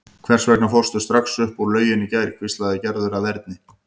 Hvers vegna fórstu strax upp úr lauginni í gær? hvíslaði Gerður að Erni.